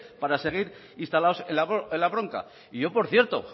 para seguir instalados en la bronca y yo por cierto